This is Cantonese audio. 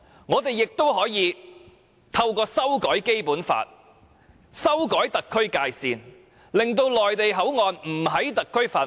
我們亦可以透過修改《基本法》及修改特區的界線，令內地口岸區不屬於特區範圍。